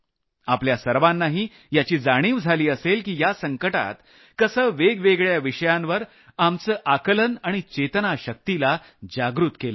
आपल्या सर्वांनाही याची जाणीव झाली असेल की या संकटात कसं वेगवेगळ्या विषयांवर आकलन आणि चेतनाशक्तिला जागृत केलं आहे